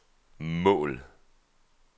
mål